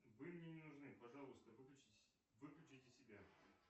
вы мне не нужны пожалуйста выключите себя